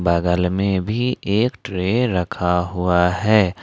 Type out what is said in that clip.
बगल में भी एक ट्रे रखा हुआ है।